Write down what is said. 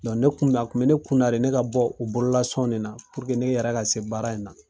Don ne kun na, a kun be ne kun na de ne ka bɔɔ u bololasɔn nin na ne yɛrɛ ka se baara in na.